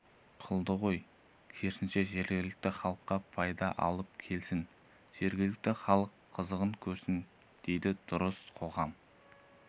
қылды ғой керісінше жергілікті халыққа пайда алып келсін жергілікті халық қызығын көрсін дұрыс дейді қоғам